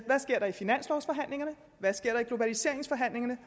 hvad der sker i globaliseringsforhandlingerne